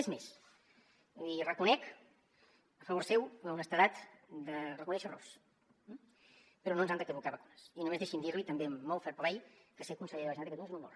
és més li reconec a favor seu l’honestedat de reconèixer errors però no ens han de caducar vacunes i només deixi’m dirli també amb molt fair play que ser conseller de la generalitat de catalunya és un honor